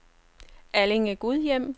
Allinge-Gudhjem